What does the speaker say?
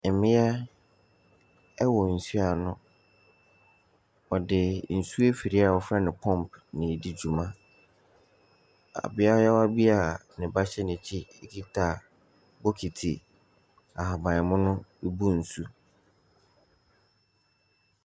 Mmea wɔ nsuo ano, ɔde nsuo afidie a wɔfrɛ no pump na ɛredi dwuma. Ɔbea bi a ne ba hyɛ n’akyi kita bokiti ahabanmono rebu nsuo.